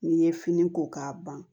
N'i ye fini ko k'a ban